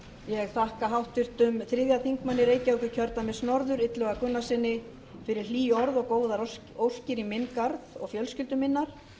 ég þakka háttvirtum þriðja þingmanni reykjavíkurkjördæmis norður illuga gunnarssyni fyrir hlý orð og góðar óskir í minn garð og fjölskyldu minnar